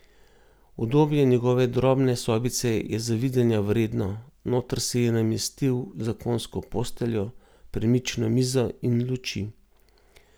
Udobje njegove drobne sobice je zavidanja vredno, noter si je namestil zakonsko posteljo, premično mizo in luči.